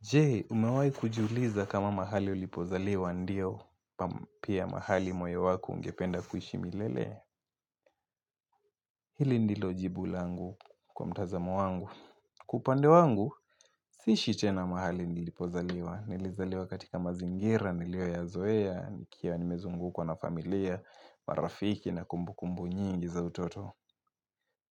Jee, umewahi kujiuliza kama mahali ulipozaliwa ndiyo pia mahali moyo wako ungependa kuishi milele. Hili ndilo jibu langu kwa mtazamo wangu. Kwa upande wangu, siishi tena mahali nilipozaliwa. Nilizaliwa katika mazingira, niliyoyazoea nikiwa nimezungukwa na familia, marafiki na kumbu kumbu nyingi za utoto.